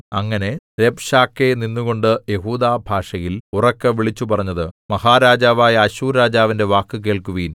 അങ്ങനെ രബ്ശാക്കേ നിന്നുകൊണ്ടു യെഹൂദാഭാഷയിൽ ഉറക്കെ വിളിച്ചുപറഞ്ഞത് മഹാരാജാവായ അശ്ശൂർരാജാവിന്റെ വാക്ക് കേൾക്കുവിൻ